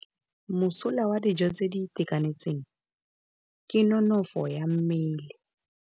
Mosola wa dijô tse di itekanetseng ke nonôfô ya mmele.